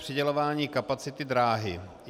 Přidělování kapacity dráhy.